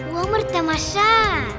өмір тамаша